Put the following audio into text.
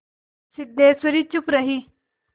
सिद्धेश्वरी चुप रही